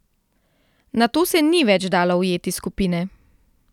Nato se ni več dalo ujeti skupine.